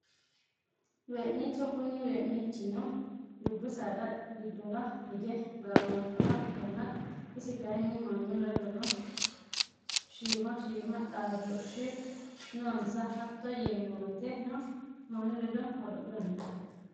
Weeniicho kuni weenichino dubbu saada gidora hige gaamamanoha ikanna isi kayiini manu ledono shiima shiima xaaDoshu noonsa hato yeemowoyiteno manu ledo godo`lawo.